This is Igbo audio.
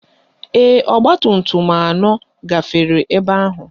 Ee, ọgbatumtum anọ gafere ebe ahụ